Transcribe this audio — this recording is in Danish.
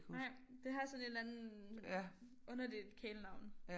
Nej det har sådan et eller andet underligt kælenavn